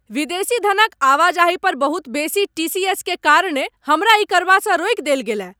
विदेशी धनक आवाजाही पर बहुत बेसी टी.सी.एस. के कारणेँ हमरा ई करबासँ रोकि देल गेलय।